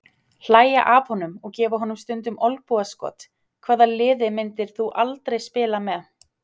Hlægja af honum og gefa honum stundum olnbogaskot Hvaða liði myndir þú aldrei spila með?